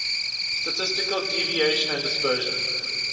statistical deviation and dispersion